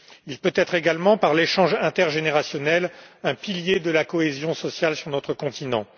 Il peut être également, par l'échange intergénérationnel, un pilier de la cohésion sociale sur notre continent.